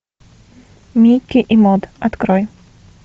микки и мод открой